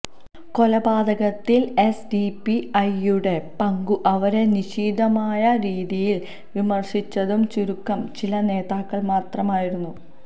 കൊലപാകത്തില് എസ്ഡിപി ഐയുടെ പങ്കും അവരെ നിശിതമായ രീതിയില് വിമര്ശിച്ചതും ചുരുക്കം ചില നേതാക്കള് മാത്രമായിരുന്നു